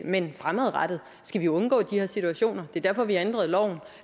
men fremadrettet skal vi undgå de her situationer det er derfor vi har ændret loven og